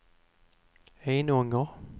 Enånger